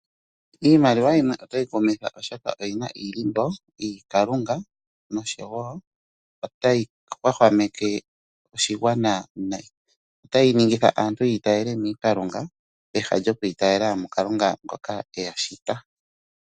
Iimaliwa yimwe otayi kumitha oshoka oyina iilimbo yiiKalunga noshowo otayi hwahwameke oshigwana nayi. Otayi ningitha aantu yi itayele miiKalunga peha lyokwiitayela muKalunga ngoka eya shita.